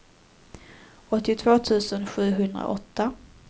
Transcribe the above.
åttiotvå tusen sjuhundraåtta